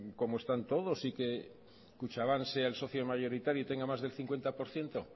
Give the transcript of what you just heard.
como están todos y que kutxabank sea el socio mayoritario y tenga más del cincuenta por ciento